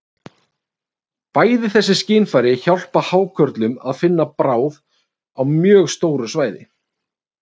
Bæði þessi skynfæri hjálpa hákörlum að finna bráð á mjög stóru svæði.